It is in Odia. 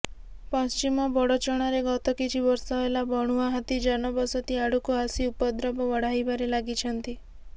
ପଶ୍ଚିମ ବଡ଼ଚଣାରେ ଗତକିଛି ବର୍ଷ ହେଲା ବଣୁଆ ହାତୀ ଜନବସିତି ଆଡକୁ ଆସି ଉପଦ୍ରବ ବଢାଇବାରେ ଲାଗିଛନ୍ତି